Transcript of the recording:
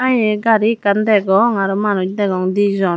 ahaa eya gari ekkan degong aro manuj degong dijon.